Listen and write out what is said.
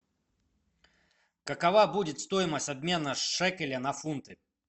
какова будет стоимость обмена шекеля на фунты